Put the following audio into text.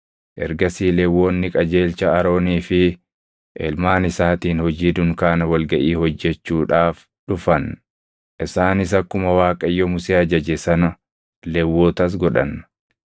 Ergasii Lewwonni qajeelcha Aroonii fi ilmaan isaatiin hojii dunkaana wal gaʼii hojjechuudhaaf dhufan. Isaanis akkuma Waaqayyo Musee ajaje sana Lewwotas godhan.